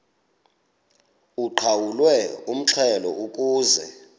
uqhawulwe umxhelo ukuze